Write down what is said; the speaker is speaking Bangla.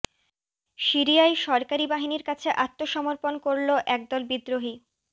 সিরিয়ায় সরকারি বাহিনীর কাছে আত্মসমর্পণ করল এক দল বিদ্রোহী